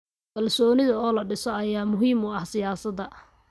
Kalsoonida oo la dhiso ayaa muhiim u ah siyaasadda.